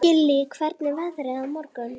Gillý, hvernig er veðrið á morgun?